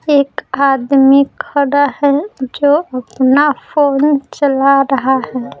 एक आदमी खड़ा है जो अपना फोन चला रहा है।